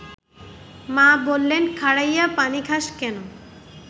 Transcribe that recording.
মা বললেন–খাড়ইয়া পানি খাস ক্যান